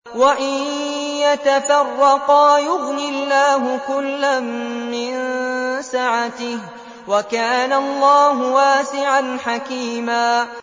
وَإِن يَتَفَرَّقَا يُغْنِ اللَّهُ كُلًّا مِّن سَعَتِهِ ۚ وَكَانَ اللَّهُ وَاسِعًا حَكِيمًا